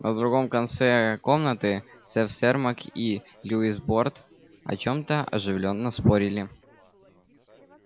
на другом конце комнаты сэф сермак и льюис борт о чем-то оживлённо спорили